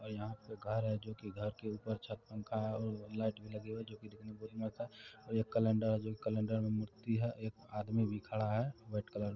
और यहाँ पे घर है जो कि घर के ऊपर छत पंखा है और लाइट भी लगी हुई जो की देखने में मस्त है और ये कैलेंडर है जो की कैलेंडर में मूर्ति है एक आदमी भी खड़ा है वाइट कलर --